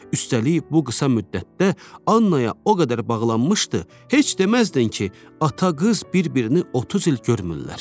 Üstəlik bu qısa müddətdə Annaya o qədər bağlanmışdı, heç deməzdin ki, ata-qız bir-birini 30 il görmürlər.